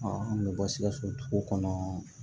an bɛ bɔ sikaso dugu kɔnɔ